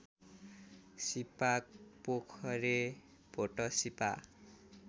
Sipapokhare Bhotsipa